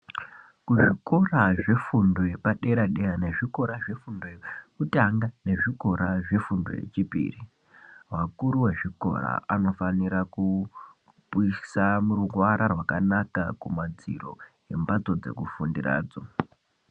Kuzvikora zvekufundo yepadera-dera nezvikora zvefundo yekutanga nezvikora zvefundo yechipiri vakuru ezvikora anofanira kuisa muruvara rwakank kumadziro rwembatso dzekufundiradzo.